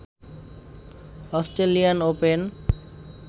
Australian open